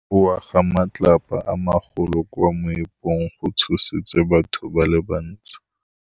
Go wa ga matlapa a magolo ko moepong go tshositse batho ba le bantsi.